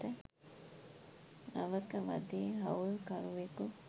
නවක වදේ හවුල්කරුවෙකු